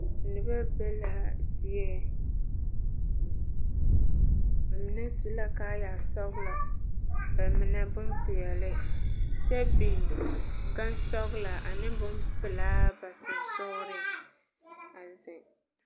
Noba be laa zie ba mine su la kaaya sɔglɔ ba mine boŋ peɛle kyɛ biŋ gaŋsoŋlɔ ane boŋ pilaa ba sɔŋsɔgliŋ a ziŋ.